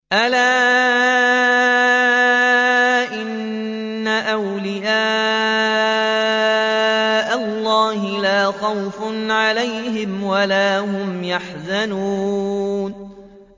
أَلَا إِنَّ أَوْلِيَاءَ اللَّهِ لَا خَوْفٌ عَلَيْهِمْ وَلَا هُمْ يَحْزَنُونَ